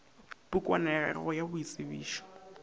pukwana ya gago ya boitsebišo